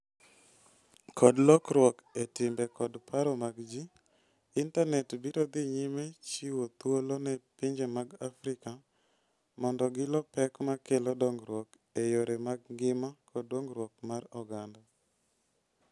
Kod lokruok e timbe kod paro mag ji, intanet biro dhi nyime chiwo thuolo ne pinje mag Afrika mondo gilo pek ma kelo dongruok e yore mag ngima kod dongruok mar oganda.